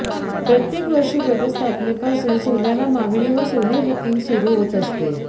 प्रत्येक वर्षी घटस्थापनेपासून सोन्याला मागणी व सोने बुकिंग सुरू होत असते